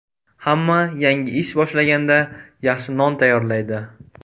Hamma yangi ish boshlaganda yaxshi non tayyorlaydi.